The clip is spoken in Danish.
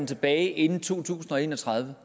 tilbage inden to tusind og en og tredive